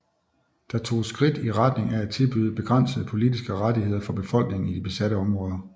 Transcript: Der toges skridt i retning af at tilbyde begrænsede politiske rettigheder for befolkningen i de besatte områder